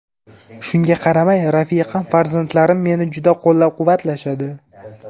Shunga qaramay, rafiqam, farzandlarim meni juda qo‘llab-quvvatlashadi.